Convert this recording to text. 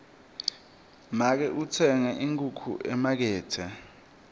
make utsenge inkhukhu emakethe